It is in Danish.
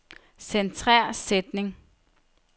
Centrer sætning.